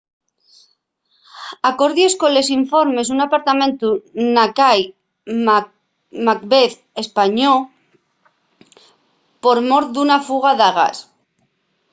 acordies colos informes un apartamentu na cai macbeth españó por mor d’una fuga de gas